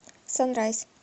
сан райз